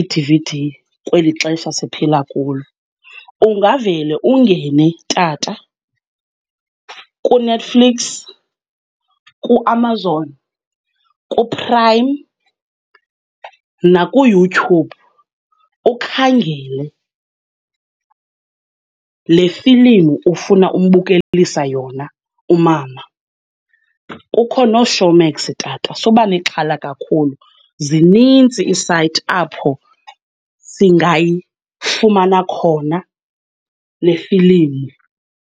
iD_V_D kweli xesha siphila kulo. Ungavele ungene tata kuNetflix, kuAmazon, kuPrime nakuYouTube ukhangele le filimu ufuna umbukelisa yona umama. Kukho nooShowmax tata, suba nexhala kakhulu, zininzi iisayithi apho singayifumana khona lefilimu.